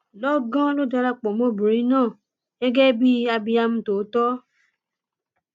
lọgán ló darapọ mọ obìnrin náà gẹgẹ bíi abiam tòótọ